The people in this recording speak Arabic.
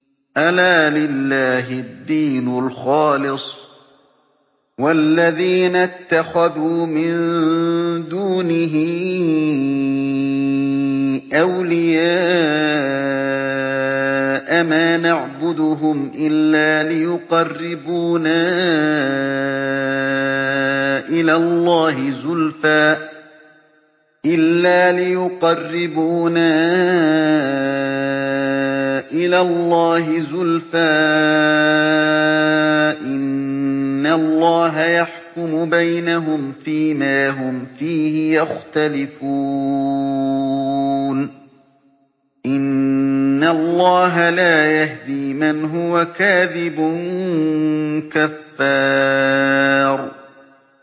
أَلَا لِلَّهِ الدِّينُ الْخَالِصُ ۚ وَالَّذِينَ اتَّخَذُوا مِن دُونِهِ أَوْلِيَاءَ مَا نَعْبُدُهُمْ إِلَّا لِيُقَرِّبُونَا إِلَى اللَّهِ زُلْفَىٰ إِنَّ اللَّهَ يَحْكُمُ بَيْنَهُمْ فِي مَا هُمْ فِيهِ يَخْتَلِفُونَ ۗ إِنَّ اللَّهَ لَا يَهْدِي مَنْ هُوَ كَاذِبٌ كَفَّارٌ